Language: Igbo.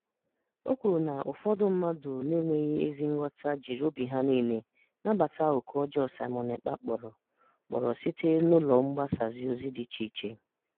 O kwuru na ụfọdụ mmadụ na-enweghị ezi nghọta jiri obi ha niile nabata oku ọjọọ Simon Ekpa kpọrọ kpọrọ site n'ụlọ mgbasaozi dị iche iche.